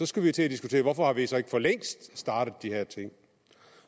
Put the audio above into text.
skulle vi til at diskutere hvorfor vi så ikke for længst har startet de her ting